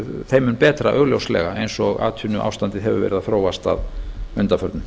þeim mun betra augljóslega eins og atvinnuástandið hefur verið að þróast að undanförnu